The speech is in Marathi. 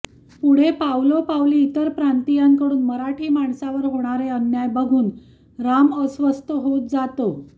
पुढे पावलोपावली इतर प्रांतियाकडून मराठी माणसावर होणारे अन्याय बघून राम अस्वस्थ होत जातो